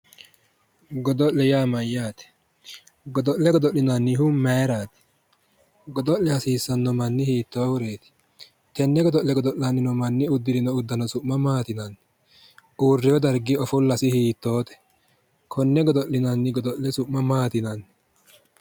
Godo'le yaa mayyaate? Godo'le godo'linannihu mayiraati? Godo'le hasiissanno manni hiittoo huneeti giddo no? Tenne godo'le godo'lanni no manni uddirino uddano su'ma maati yinanni? Uuriwo dargi ofollasi hiittoote? Konne godo'linanni godo'le su'ma maati yinanni?